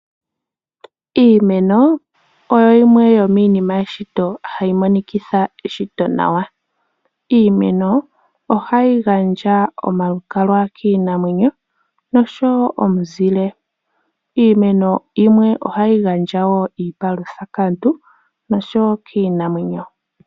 Iimeno oyo yimwe yomiinima yeshito hayi monikitha eshito nawa. Iimeno ohayi gandja omalukalwa kiinamwenyo, nosho wo omuzile. Iimeno yimwe ohayi gandja wo iipalutha kaantu, nosho wo kiinamwenyo.